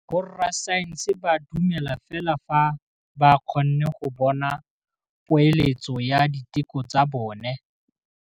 Borra saense ba dumela fela fa ba kgonne go bona poeletsô ya diteko tsa bone.